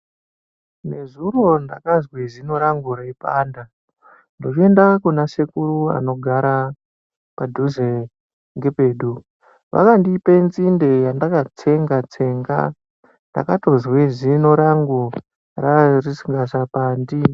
Nezuro ndakazwe zino rangu reipanda ndochoende kuna sekuru anogare padhuze nepedu vakandipe nzinde yandakatsenga tsenga Ndakatozwe zino rangu rae risingachapandi.